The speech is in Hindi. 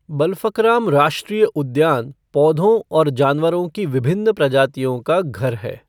बलफकराम राष्ट्रीय उद्यान पौधों और जानवरों की विभिन्न प्रजातियों का घर है।